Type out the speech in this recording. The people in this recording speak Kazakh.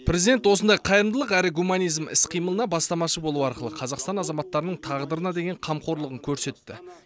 президент осындай қайырымдылық әрі гуманизм іс қимылына бастамашы болу арқылы қазақстан азаматтарының тағдырына деген қамқорлығын көрсетті